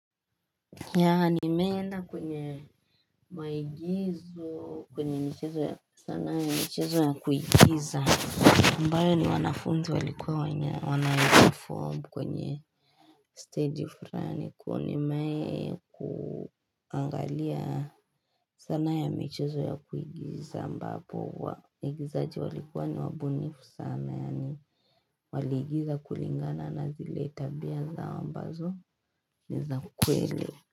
Yaani meena kwenye maigizo kwenye michezo ya sanaa ya michezo ya kuigiza ambayo ni wanafunzi walikuwa wanaya wanaiperform kwenye staji fulani Kwa hivyo nimewai kuangalia sanaa ya michezo ya kuigiza ambapo waigizaji walikuwa ni wabunifu sana Yaani waliigiza kulingana na zile tabia zao ambazo ni za kweli.